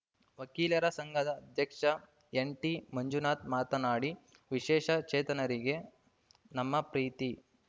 ವಕೀಲರ ಸಂಘದ ಅಧ್ಯಕ್ಷ ಎನ್‌ಟಿಮಂಜುನಾಥ ಮಾತನಾಡಿ ವಿಶೇಷ ಚೇತನರಿಗೆ ನಮ್ಮ ಪ್ರೀತಿ